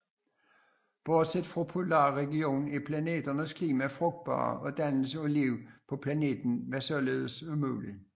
Bortset fra polar regionen er planetens klima frugtbar og dannelsen af liv på planeten var således mulig